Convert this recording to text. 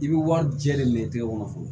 I bɛ wari jɛlen minɛ i tɛgɛ kɔnɔ fɔlɔ